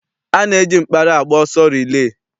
A na-eji mkpara agba ọsọ rilee.